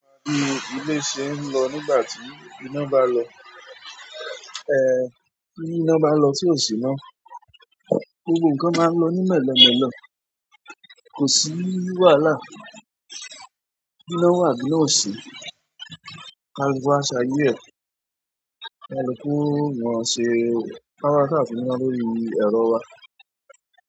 Bi ilé ṣe ń lọ nígbà tí iná bá lọ, tí iná bá lọ sí òsì náà, gbogbo ǹkan máa ń lọ nímẹ̀lẹ̀mẹ̀lẹ̀, kò sí wàhálà. Iná wà bí i iná òsì, kaluku a ṣayé ẹ, kaluku o mọn ṣe ka saa ti nina lórí ẹ̀rọ wa.